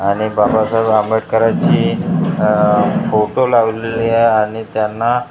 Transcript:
आणि बाबासाहेब आंबेडकरांची आह फोटो लावलेली आहे आणि त्यांना ह --